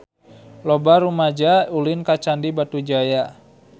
Loba rumaja ulin ka Candi Batujaya